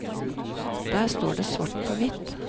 Der står det svart på hvitt.